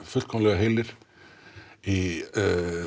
heilir í